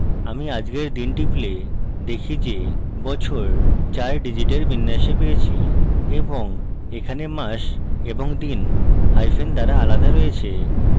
আমি আজকের দিন টিপলে দেখি যে বছর 4 digit বিন্যাসে পেয়েছি এবং এখানে মাস এবং দিন hyphens দ্বারা আলাদা রয়েছে